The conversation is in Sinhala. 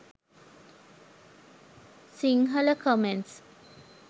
sinhala comments